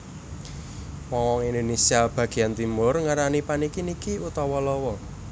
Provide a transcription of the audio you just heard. Wong wong ing Indonésia bagéyan Timur ngarani paniki niki utawa lawa